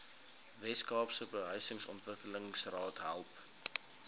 weskaapse behuisingsontwikkelingsraad help